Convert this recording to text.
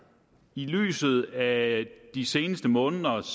i lyset af de seneste måneders